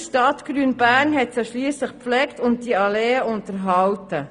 Stadt Grün Bern hat diese gepflegt und die Alleen unterhalten.